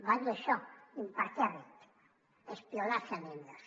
va dir això impertèrrit espionaje a niños